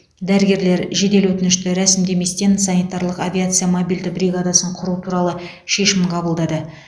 дәрігерлер жедел өтінішті рәсімдеместен санитарлық авиация мобильді бригадасын құру туралы шешім қабылдады